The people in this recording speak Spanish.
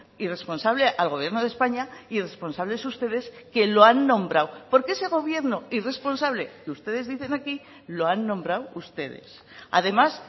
irresponsable al gobierno de españa irresponsables ustedes que lo han nombrado porque ese gobierno irresponsable que ustedes dicen aquí lo han nombrado ustedes además